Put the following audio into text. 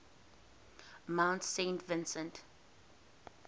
mount saint vincent